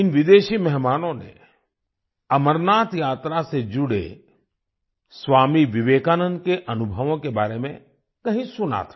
इन विदेशी मेहमानों ने अमरनाथ यात्रा से जुड़े स्वामी विवेकानंद के अनुभवों के बारे में कहीं सुना था